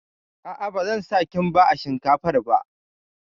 A'a, ba zan sa Kimba a shinkafar ba